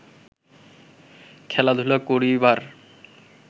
খেলাধুলা করিবার